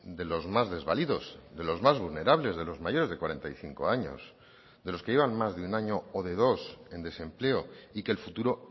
de los más desvalidos de los más vulnerables de los mayores de cuarenta y cinco años de los que llevan más de un año o de dos en desempleo y que el futuro